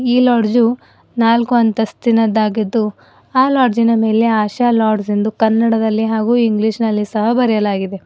ಈ ಲಾಡ್ಜು ನಾಲ್ಕು ಅಂತಸ್ತಿನದ್ದಾಗಿದ್ದು ಆ ಲಾಡ್ಜಿ ನ ಮೇಲೆ ಆಶಾ ಲಾಡ್ಜ್ ಎಂದು ಕನ್ನಡದಲ್ಲಿ ಹಾಗು ಇಂಗ್ಲೀಷ್ ನಲ್ಲಿ ಸಹ ಬರೆಯಲಾಗಿದೆ.